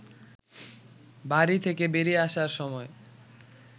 বাড়ি থেকে বেরিয়ে আসার সময়